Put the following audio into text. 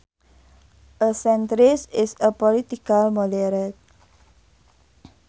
A centrist is a political moderate